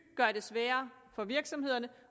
gøre det sværere for virksomhederne